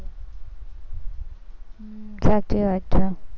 હમ સાચી વાત છે.